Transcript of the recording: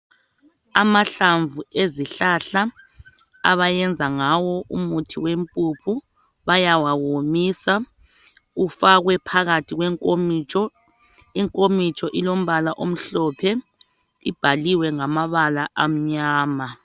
Amahlamvu ezihlahla abayenza ngawo umuthi wempuphu bayawawomisa ufakwe phakathi kwenkomitsho. Inkomitsho ilombala omhlophe ibhaliwe ngamabala amnyama.